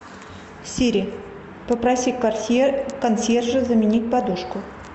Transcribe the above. сири попроси консьержа заменить подушку